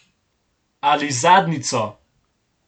Ali zadnjico.